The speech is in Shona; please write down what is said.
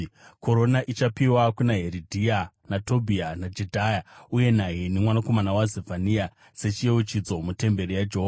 Korona ichapiwa kuna Heridhai, naTobhiya, naJedhaya uye naHeni mwanakomana waZefania sechiyeuchidzo mutemberi yaJehovha.